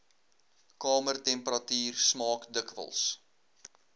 kamertemperatuur smaak dikwels